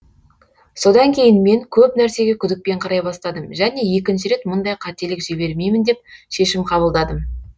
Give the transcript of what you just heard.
содан кейін мен көп нәрсеге күдікпен қарай бастадым және екінші рет мұндай қателік жібермеймін деп шешім қабылдадым